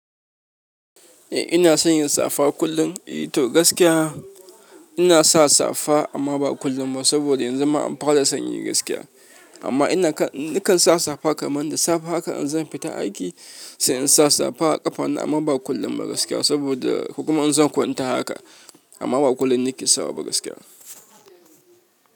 Eh ina sanya safa kullum. E to gaskiya ina sa safa amma ba kullum ba saboda yanzu ma an fara sanyi gaskiya. Amma ina kan, nakan sa safa kamar da safe haka in zan fita aiki sai in sa safa a ƙafana amma ba kullum ba gaskiya saboda kuma in zan kwanta haka amma ba kullum nake sawa ba gaskiya.